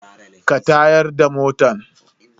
Ka tayar da motan?